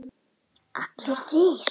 Allir þrír?